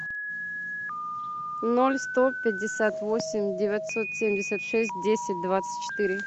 ноль сто пятьдесят восемь девятьсот семьдесят шесть десять двадцать четыре